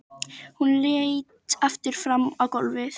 Hún leit aftur fram á gólfið.